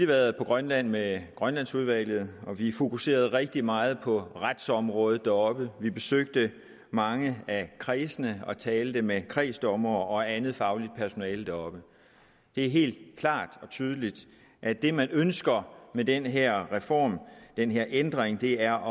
været på grønland med grønlandsudvalget og vi fokuserede rigtig meget på retsområdet deroppe vi besøgte mange af kredsene og talte med kredsdommere og andet fagligt personale deroppe det er helt klart og tydeligt at det man ønsker med den her reform den her ændring er